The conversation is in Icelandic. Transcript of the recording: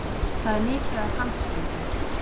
Það er mikið af handsprengjum